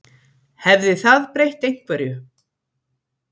Hefði það breytt einhverju?